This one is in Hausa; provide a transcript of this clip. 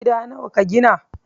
Gida nawa ka gina?